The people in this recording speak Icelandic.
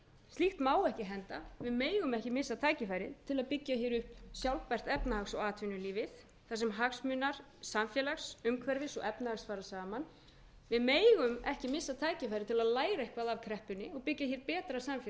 slíkt má ekki henda við megum ekki missa tækifærið til að byggja upp sjálfstætt efnahags og atvinnulífið þar sem hagsmunir samfélags umhverfis og efnahags fara saman við megum ekki missa tækifærið til að læra eitthvað af kreppunni og byggja betra samfélag